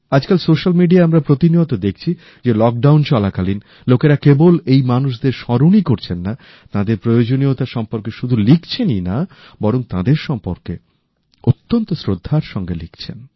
আজকাল সোশ্যাল মিডিয়ায় আমরা প্রতিনিয়ত দেখছি যে লকডাউন চলাকালীন লোকেরা কেবল এই মানুষদের স্মরণই করছেন না তাদের প্রয়োজনীয়তা সম্পর্কে শুধু লিখছেনই না বরং তাদের সম্পর্কে অত্যন্ত শ্রদ্ধার সঙ্গে লিখছেন